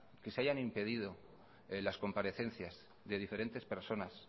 que se hayan impedido las comparecencias de diferentes personas